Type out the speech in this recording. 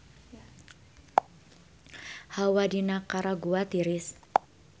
Hawa di Nikaragua tiris